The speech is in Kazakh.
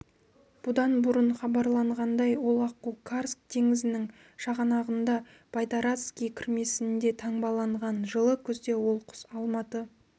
бұдан бұрын хабарланғандай ол аққу карск теңізінің шығанағында байдарацкий кірмесінде таңбаланған жылы күзде ол құс алматы